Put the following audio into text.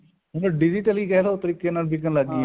ਹੁਣ digital ਕਹਿਲੋ ਉਹ ਤਰੀਕੇ ਨਾਲ ਬਿਕਨ ਲੱਗ ਗਈਆਂ